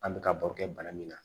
An bɛ ka baro kɛ bana min na